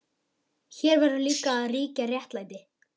Hér verður líka að ríkja réttlæti.